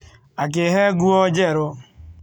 Akĩhe nguo njerũ.